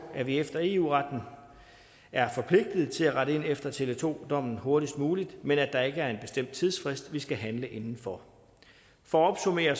at vi efter eu retten er forpligtet til at rette ind efter tele2 dommen hurtigst muligt men at der ikke er en bestemt tidsfrist vi skal handle inden for for at opsummere